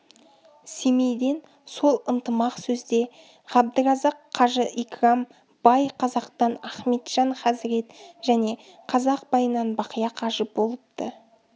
семейден сол ынтымақ сөзде ғабдыразақ қажы икрам бай қазақтан ахметжан хазірет және қазақ байынан бақия қажы болыпты